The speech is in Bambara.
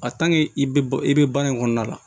i bɛ i bɛ baara in kɔnɔna la